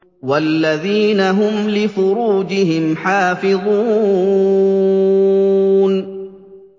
وَالَّذِينَ هُمْ لِفُرُوجِهِمْ حَافِظُونَ